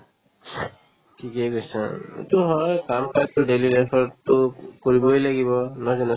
ঠিকে কৈছা উম এইটো হয় কাম-কাজতো daily life ততো কৰিবই লাগিব নহয় জানো